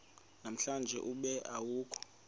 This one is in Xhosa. namhlanje ube awukho